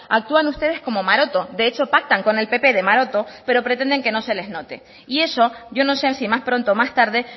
actúan ustedes como maroto de hecho pactan con el pp de maroto pero pretenden que no se les note y eso yo no sé si más pronto o más tarde